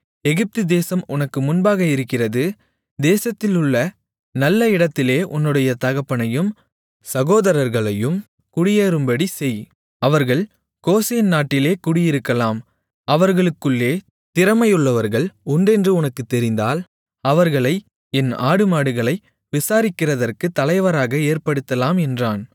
எகிப்துதேசம் உனக்கு முன்பாக இருக்கிறது தேசத்திலுள்ள நல்ல இடத்திலே உன்னுடைய தகப்பனையும் சகோதரர்களையும் குடியேறும்படி செய் அவர்கள் கோசேன் நாட்டிலே குடியிருக்கலாம் அவர்களுக்குள்ளே திறமையுள்ளவர்கள் உண்டென்று உனக்குத் தெரிந்திருந்தால் அவர்களை என் ஆடுமாடுகளை விசாரிக்கிறதற்குத் தலைவராக ஏற்படுத்தலாம் என்றான்